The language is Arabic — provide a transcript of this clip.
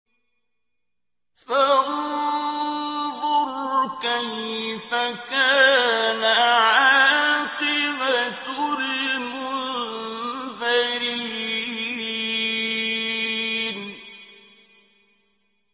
فَانظُرْ كَيْفَ كَانَ عَاقِبَةُ الْمُنذَرِينَ